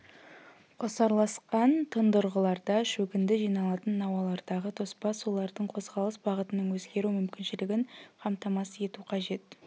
қосарласқан тұндырғыларда шөгінді жиналатын науалардағы тоспа сулардың қозғалыс бағытының өзгеру мүмкіншілігін қамтамасыз ету қажет